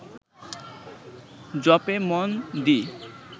জপে মন দি